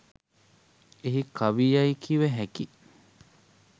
එහි කවි යැයි කිව හැකි